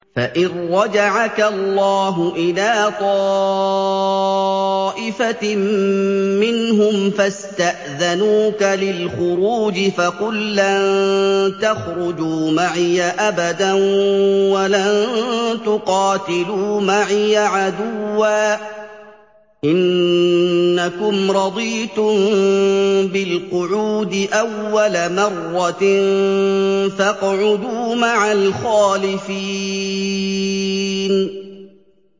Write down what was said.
فَإِن رَّجَعَكَ اللَّهُ إِلَىٰ طَائِفَةٍ مِّنْهُمْ فَاسْتَأْذَنُوكَ لِلْخُرُوجِ فَقُل لَّن تَخْرُجُوا مَعِيَ أَبَدًا وَلَن تُقَاتِلُوا مَعِيَ عَدُوًّا ۖ إِنَّكُمْ رَضِيتُم بِالْقُعُودِ أَوَّلَ مَرَّةٍ فَاقْعُدُوا مَعَ الْخَالِفِينَ